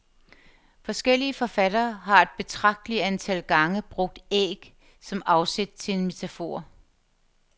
Forskellige forfattere har et betragteligt antal gange brugt æg som afsæt til en metafor.